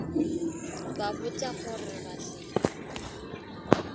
ba botša gore ba se